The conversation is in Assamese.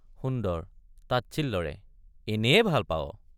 সুন্দৰ— তাচ্ছিল্যৰে এনেয়ে ভাল পাৱ!